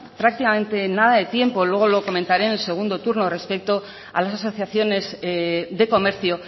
prácticamente nada de tiempo luego lo comentaré en el segundo turno respecto a las asociaciones de comercio